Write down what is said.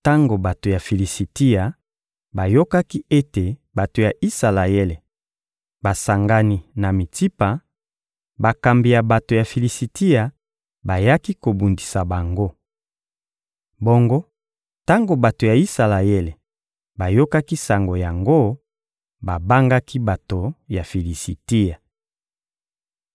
Tango bato ya Filisitia bayokaki ete bato ya Isalaele basangani na Mitsipa, bakambi ya bato ya Filisitia bayaki kobundisa bango. Bongo tango bato ya Isalaele bayokaki sango yango, babangaki bato ya Filisitia.